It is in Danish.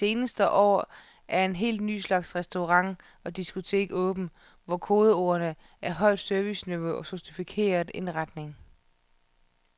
Det seneste år er en helt ny slags restauranter og diskoteker åbnet, hvor kodeordene er højt serviceniveau og en sofistikeret indretning.